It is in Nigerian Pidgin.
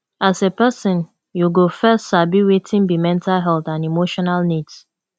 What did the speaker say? as a person you go first sabi wetin be mental health and emotional needs